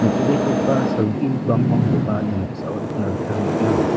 nitobegipa salgi bangbangkoba ia noksao nikna gita man·a.